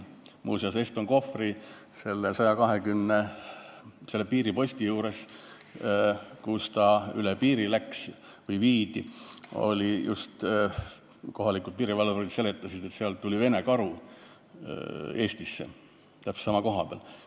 Muuseas, kohalikud piirivalvurid rääkisid, et Eston Kohvri piiriposti juures, kus ta üle piiri läks või viidi, tuli Vene karu Eestisse, täpselt sama koha peal.